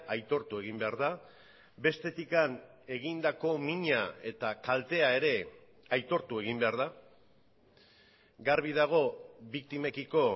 aitortu egin behar da bestetik egindako mina eta kaltea ere aitortu egin behar da garbi dago biktimekiko